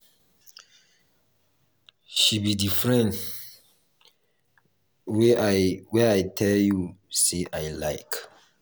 she be the friend wey i wey i tell you say i iike.